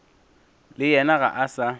le yena ga a sa